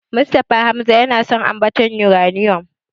Mustapha Hamza yana son ambatar Yuraniyom.